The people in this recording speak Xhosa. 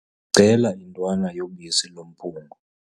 Ndicela intwana yobisi lomphungo.